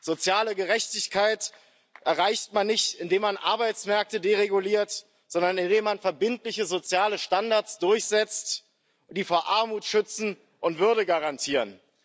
Soziale Gerechtigkeit erreicht man nicht, indem man Arbeitsmärkte dereguliert, sondern indem man verbindliche soziale Standards durchsetzt, die vor Armut schützen und Würde garantieren.